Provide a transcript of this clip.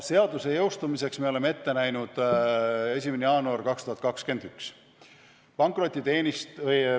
Seaduse jõustumiseks me oleme ette näinud 1. jaanuari 2021.